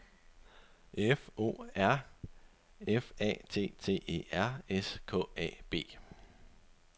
F O R F A T T E R S K A B